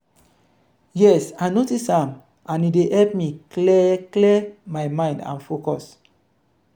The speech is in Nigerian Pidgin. yes i notice am and e dey help me clear clear my mind and focus.